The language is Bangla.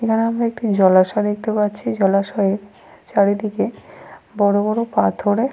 এখানে আমরা একটি জলাশয় দেখতে পাচ্ছি। জলাশয়ে চারিদিকে বড়বড় পাথরে।